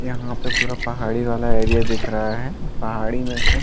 यहाँ पे पूरा पहाड़ी वाला एरिया दिख रहा हैं पहाडी में से --